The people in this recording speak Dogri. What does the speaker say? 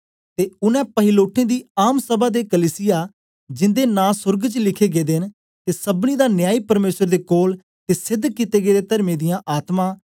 ते उनै पहिलोठें दी आम सभा ते कलीसिया जिंदे नां सोर्ग च लिखे दे न ते सबनीं दा न्यायी परमेसर दे कोल ते सेध कित्ते गेदे तर्मियें दियां आत्मा